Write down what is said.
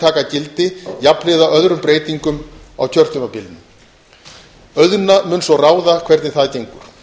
taka gildi jafnhliða öðrum breytingum á kjörtímabilinu auðna mun svo ráða hvernig það gengur